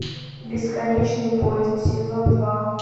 бесконечный поезд сезон два